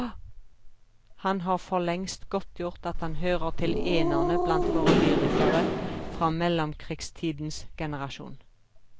Han har forlengst godtgjort at han hører til enerne blant våre lyrikere fra mellomkrigstidens generasjon.